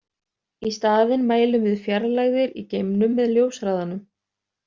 Í staðinn mælum við fjarlægðir í geimnum með ljóshraðanum.